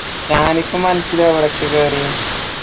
ഷാനിഫും അൻസലും അവരൊക്കെ കേറി